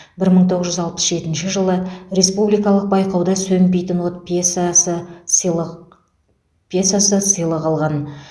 бір мың тоғыз жүз алпыс жетінші жылы республикалық байқауда сөнбейтін от пьесасы сыйлық пьесасы сыйлық алған